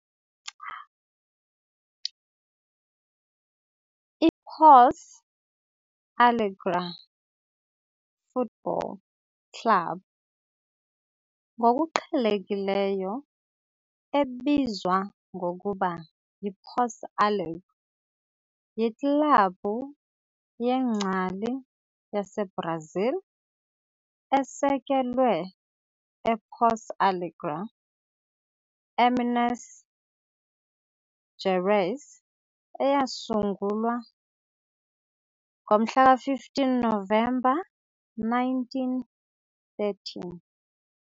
I-Pouso Alegre Futebol Clube, ngokuqhelekileyo ebizwa ngokuba yiPouso Alegre, yiklabhu yengcali yaseBrazil esekelwe ePouso Alegre, eMinas Gerais eyasungulwa ngo-15 Novemba 1913.